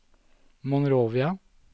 Monrovia